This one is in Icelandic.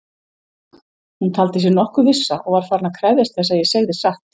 Hún taldi sig nokkuð vissa og var farin að krefjast þess að ég segði satt.